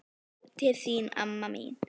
Ljóð til þín amma mín.